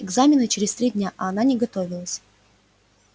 экзамены через три дня а она не готовилась